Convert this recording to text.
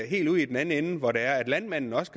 helt ud i den anden ende hvor landmanden også